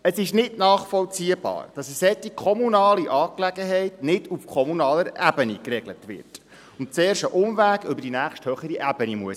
Es ist nicht nachvollziehbar, dass eine solche kommunale Angelegenheit nicht auf kommunaler Ebene geregelt wird und zuerst einen Umweg über die nächsthöhere Ebene nehmen muss.